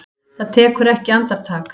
Það tekur ekki andartak.